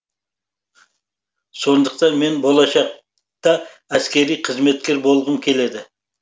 сондықтан мен болашақта әскери қызметкер болғым келеді